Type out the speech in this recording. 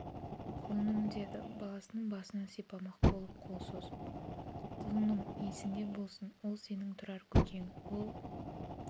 құлыным деді баласының басынан сипамақ болып қол созып құлыным есіңде болсын ол сенің тұрар көкең ол